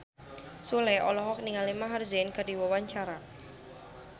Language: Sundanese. Sule olohok ningali Maher Zein keur diwawancara